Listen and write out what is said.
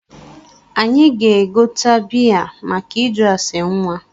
Anyị ga-egote bịa make ịjụ asa nwa